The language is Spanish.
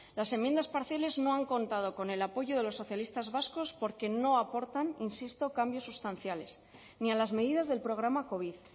las enmiendas parciales no han contado con el apoyo de los socialistas vascos porque no aportan insisto cambios sustanciales ni a las medidas del programa covid